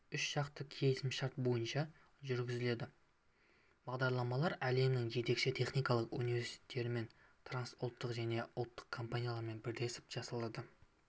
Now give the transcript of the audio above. үшжақты келісімшарт бойынша жүргізіледі бағдарламалар әлемнің жетекші техникалық университеттерімен трансұлттық және ұлттық компаниялармен бірлесіп жасалып